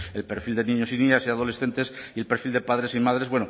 el perfil de niños y niñas y adolescentes y el perfil de padres y madres